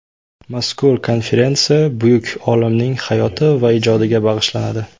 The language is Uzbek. Mazkur konferensiya buyuk olimning hayoti va ijodiga bag‘ishlanadi.